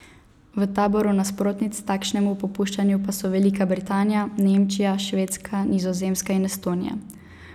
V taboru nasprotnic takšnemu popuščanju pa so Velika Britanija, Nemčija, Švedska, Nizozemska in Estonija.